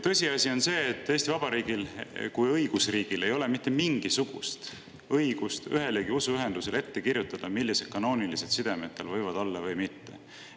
Tõsiasi on see, et Eesti Vabariigil kui õigusriigil ei ole mitte mingisugust õigust ühelegi usuühendusele ette kirjutada, millised kanoonilised sidemed tal võivad olla või mitte olla.